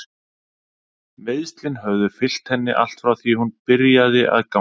Meiðslin höfðu fylgt henni allt frá því hún byrjaði að ganga.